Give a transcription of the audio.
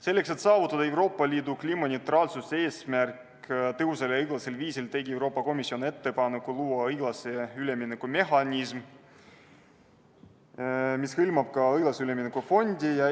Selleks, et saavutada Euroopa Liidu kliimaneutraalsuse eesmärk tõhusal ja õiglasel viisil, tegi Euroopa Komisjon ettepaneku luua üleminekumehhanism, mis hõlmab ka õiglase ülemineku fondi.